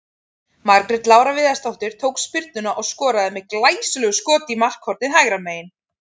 Margrét Lára Viðarsdóttir tók spyrnuna og skoraði með glæsilegu skot í markhornið hægra megin.